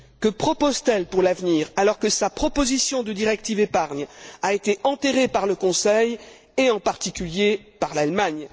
Que propose t elle pour l'avenir alors que sa proposition de directive sur la fiscalité de l'épargne a été enterrée par le Conseil et, en particulier, par l'Allemagne?